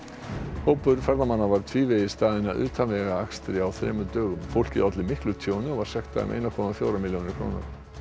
hópur ferðamanna var tvívegis staðinn að utanvegaakstri á þremur dögum fólkið olli miklu tjóni og var sektað um ein komma fjórar milljónir króna